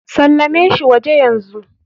Salame shi waje yanzu.